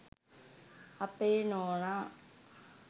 අපේ නෝනා